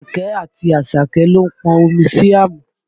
Àpèkẹ́ àti Àṣàkẹ́ ló pọn omi sí àmù